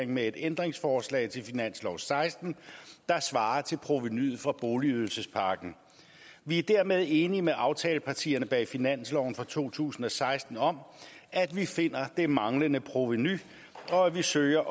med et ændringsforslag til finansloven seksten der svarer til provenuet fra boligydelsespakken vi er dermed enige med aftalepartierne bag finansloven for to tusind og seksten om at vi finder det manglende provenu og at vi søger